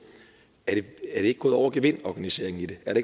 er det ikke gået over gevind organiseringen i det er